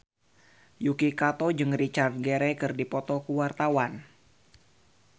Yuki Kato jeung Richard Gere keur dipoto ku wartawan